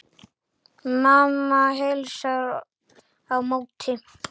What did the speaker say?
Mamma heilsar á móti.